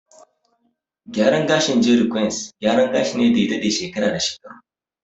Gyaran gashin "jeri kwains", gyaran gashi ne da ya daɗe shekara da shekaru.